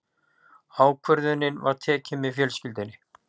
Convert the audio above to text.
Ákvörðunin var tekin með fjölskyldunni.